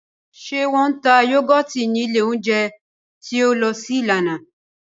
Ṣé wọ́n ń ta yúgọ́tì nílé oúnjẹ tí o lọ sí lánàá